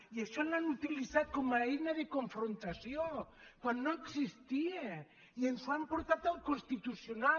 i això ho han utilitzat com a eina de confrontació quan no existia i ens ho han portat al constitucional